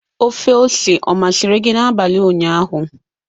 Ofe ose ọ masịrị gị n'abalị ụnyaahụ?